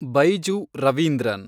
Baiju Ravindran